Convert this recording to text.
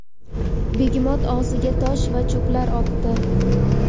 begemot og‘ziga tosh va cho‘plar otdi.